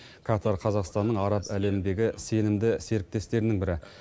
катар қазақстанның араб әлеміндегі сенімді серіктестерінің бірі